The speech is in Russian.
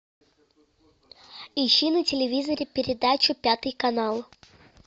ищи на телевизоре передачу пятый канал